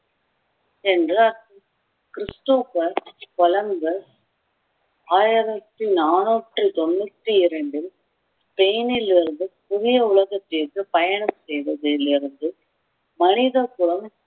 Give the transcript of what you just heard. Christopher Columbus ஆயிரத்தி நானூற்றி தொண்ணூத்தி இரண்டில் ஸ்பெயினில் இருந்து புதிய உலகத்திற்கு பயணம் செய்ததில் இருந்து மனித குலம்